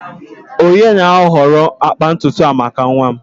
onye na-ahọrọ agba ntutu a maka nwa m?